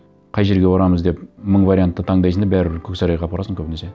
қай жерге барамыз деп мың вариантты таңдайсың да бәрібір көк сарайға апарасың көбінесе